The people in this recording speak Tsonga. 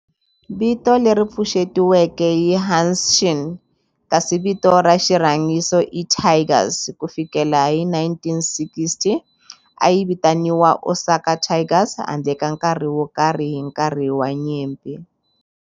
Vito leri pfuxetiweke i Hanshin kasi vito ra xirhangiso i Tigers. Ku fikela hi 1960, a yi vitaniwa Osaka Tigers handle ka nkarhi wo karhi hi nkarhi wa nyimpi.